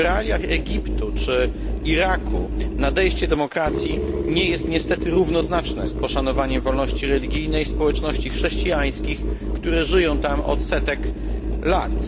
W realiach Egiptu czy Iraku nadejście demokracji nie jest niestety równoznaczne z poszanowaniem wolności religijnej społeczności chrześcijańskich, które żyją tam od setek lat.